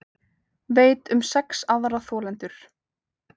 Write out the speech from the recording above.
Veit um sex aðra þolendur